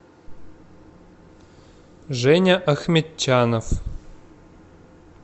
женя ахметчанов